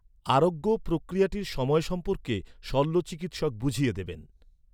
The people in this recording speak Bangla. আরোগ্য প্রক্রিয়াটির সময় সম্পর্কে শল্যচিকিৎসক বুঝিয়ে দেবেন।